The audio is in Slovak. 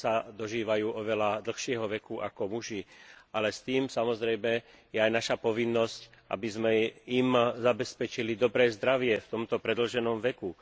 Ženy sa dožívajú oveľa dlhšieho veku ako muži, ale s tým je samozrejme spojená aj naša povinnosť, aby sme im zabezpečili dobré zdravie v tomto predĺženom veku.